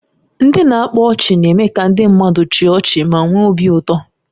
Ndị na-akpa ọchị na-eme ka ndị mmadụ chịa ọchị ma nwee obi ụtọ